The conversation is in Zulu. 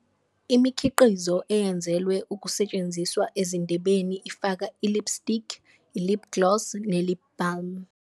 Imikhiqizo eyenzelwe ukusetshenziswa ezindebeni ifaka i-lipstick, i-lip gloss ne-lip balm.